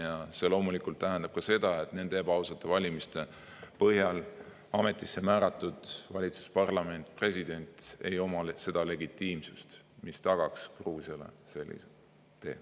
Ja see loomulikult tähendab ka seda, et nende ebaausate valimiste põhjal ametisse määratud valitsus, parlament, president ei oma niisugust legitiimsust, mis tagaks Gruusiale sellise tee.